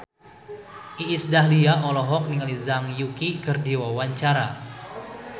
Iis Dahlia olohok ningali Zhang Yuqi keur diwawancara